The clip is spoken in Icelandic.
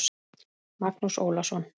Magnús Ólason.